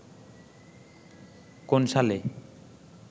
কোন সালে